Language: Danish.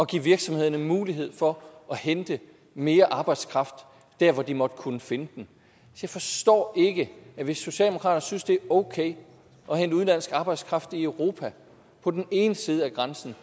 give virksomhederne mulighed for at hente mere arbejdskraft der hvor de måtte kunne finde den hvis socialdemokraterne synes det er okay at hente udenlandsk arbejdskraft i europa på den ene side af grænsen